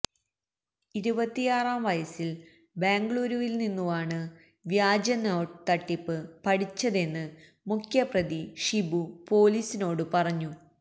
ഇരുപത്തിയാറാം വയസിൽ ബാംഗളൂരുവിൽ നിന്നുമാണ് വ്യാജ നോട്ട് തട്ടിപ്പ് പഠിച്ചതെന്ന് മുഖ്യപ്രതി ഷിബു പൊലീസിനോട് പറഞ്ഞു